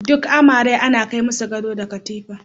Duk amare ana kai masu gado da katifa.